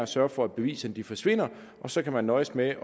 sørge for at beviserne forsvinder og så kan man nøjes med